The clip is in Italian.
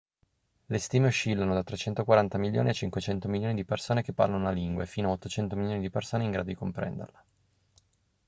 le stime oscillano da 340 milioni a 500 milioni di persone che parlano la lingua e fino a 800 milioni di persone in grado di comprenderla